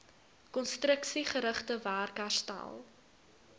konstruksiegerigte werk herstel